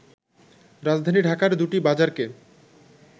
রাজধানী ঢাকার দুটি বাজারকে